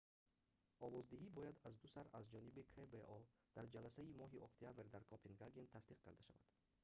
овоздиҳӣ бояд аздусар аз ҷониби кбо дар ҷаласаи моҳи октябр дар копенгаген тасдиқ карда шавад